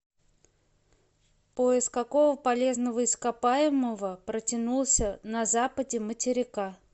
пояс какого полезного ископаемого протянулся на западе материка